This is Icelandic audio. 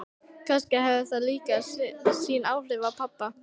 Kannski hafði það líka sín áhrif á pabba.